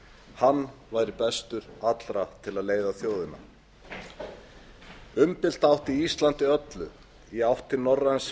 hann væri bestur allra til að leiða leiðina umdeilt átti íslandi öllu í átt